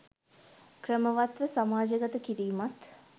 ක්‍රමවත් ව සමාජගත කිරීමත්